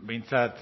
behintzat